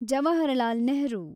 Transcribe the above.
Jawaharlal Nehru